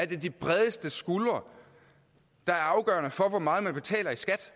det de bredeste skuldre der er afgørende for hvor meget man betaler i skat